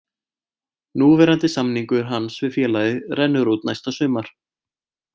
Núverandi samningur hans við félagið rennur út næsta sumar.